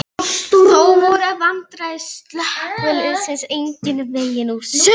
Þó voru vandræði slökkviliðsins engan veginn úr sögunni.